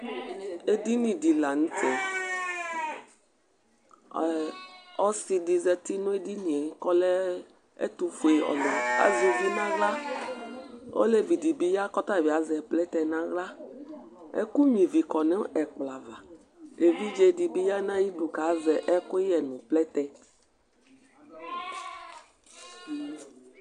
Edɩnɩ di lanʊtɛ Ɔsɩ dɩ zatɩ nedɩnɩe ƙɔlɛ etufʊealʊ, azʊʋɩ ŋawla Oleʋɩ dibi ya kɔtabi azɛ plɛtɛ ŋawla Ɛkʊ ɣnʊɩvɩ kɔ nʊ ɛkplɔ ava Eʋɩɖze dibi ya nayɩdʊ kazɛ ɛkʊyɛ nʊ plɛtɛ